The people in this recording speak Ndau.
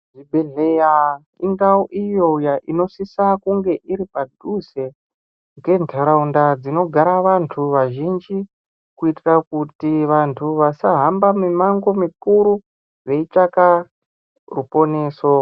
Zvibhedhleya indau iyo inosisa kunge iri padhuze ngeandaraunda dzinogare vanthu vazhinji kuitira kuti vanthu vasahamba mimango mikuru veitsvaka ruponeso.